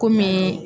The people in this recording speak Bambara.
Kɔmi